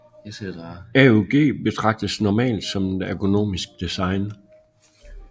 AUG betragtes normalt som et ergonomisk design